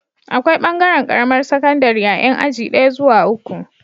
Akwai bangaran Karamar sakandari ta Yan aji daya zuwa uku